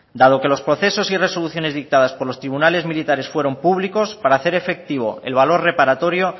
dado que los procesos y resoluciones dictadas por los tribunales militares fueron públicos para hacer efectivo el valor reparatorio